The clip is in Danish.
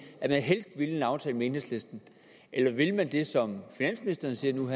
at man helst ville en aftale med enhedslisten eller vil man det som finansministeren siger nu at